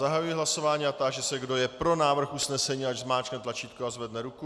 Zahajuji hlasování a táži se, kdo je pro návrh usnesení, ať zmáčkne tlačítko a zvedne ruku.